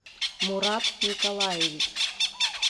мурат николаевич